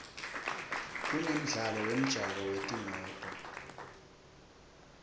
kunemidlalo wemjako wetimoto